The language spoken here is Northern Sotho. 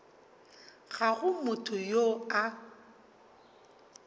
ga go motho yo a